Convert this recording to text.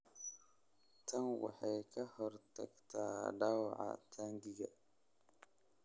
tani waxay ka hortagtaa dhaawaca taangiga